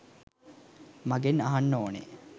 මගෙන් අහන්න ඕනෙ.